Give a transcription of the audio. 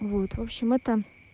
ну вот вообщем это